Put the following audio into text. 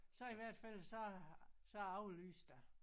Så i hvert fald så så aflyste jeg